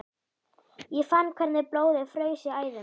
Ég fann hvernig blóðið fraus í æðum mér.